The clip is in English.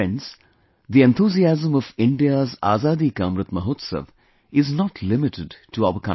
Friends, the enthusiasm of India's Azaadi ka Amrit Mahotsav is not limited to our country